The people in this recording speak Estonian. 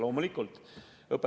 Loomulikult.